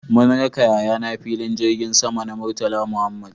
Mun raka yayana filin jirgin sama na Murtala Muhammad